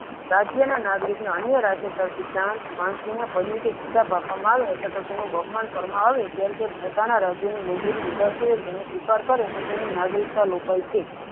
રાજ્યના નાગરિક અન્ય રાજ્ય પરથી સંત તેનું બહુમાન કરવામાં આવ્યો તે પોતાના રાજ્યની મંજૂરી લીધા સીવ્યા તેનો સ્વીકાર કરવો તો તેની નાગરિકતા લૂંટાય છે.